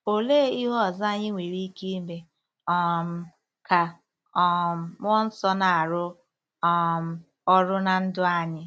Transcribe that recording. Olee ihe ọzọ anyị nwere ike ime um ka um mmụọ nsọ na-arụ um ọrụ ná ndụ anyị?